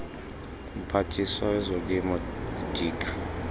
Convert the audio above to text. mphathiswa wezolimo udirk